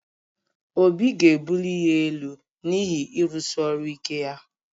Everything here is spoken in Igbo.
Obi ga-ebuli ya elu n’ihi ịrụsi ọrụ ike ya